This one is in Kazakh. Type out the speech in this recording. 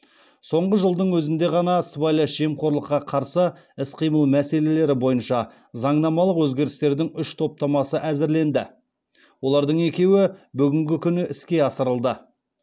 соңғы жылдың өзінде ғана сыбайлас жемқорлыққа қарсы іс қимыл мәселелері бойынша заңнамалық өзгерістердің үш топтамасы әзірленді олардың екеуі бүгінгі күні іске асырылды